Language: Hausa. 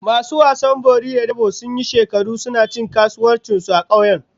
Masu wasan bori da dabo sun yi shekaru suna cin kasuwar su a kauyen